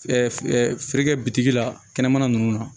Feere kɛ bitigi la kɛnɛmana nunnu na